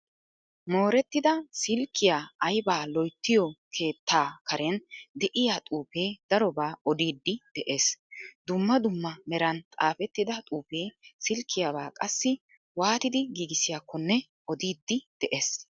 Moorettida silkkiyaa aybaa loyttiyo keettaa karen de'iyaa xuufee darobaa odiidi de'ees. Dumma dumma meran xaafettida xuufee sillkiyaabaa qassi waatidi giigissiyaakonne odiidi de'ees.